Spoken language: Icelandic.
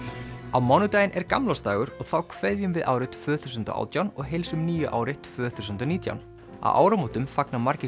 á mánudaginn er gamlársdagur og þá kveðjum við árið tvö þúsund og átján og heilsum nýju ári tvö þúsund og nítján á áramótum fagna margir